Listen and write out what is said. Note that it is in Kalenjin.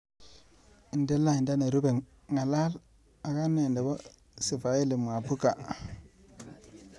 Inde lainda nerupe, ng'alal ak ane nebo Sifaeli Mwabuka.